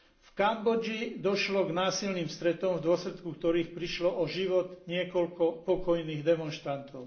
V Kambodži došlo k násilným stretom, v dôsledku ktorých prišlo o život niekoľko pokojných demonštrantov.